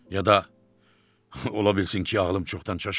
ya da ola bilsin ki, ağlım çoxdan çaşıb.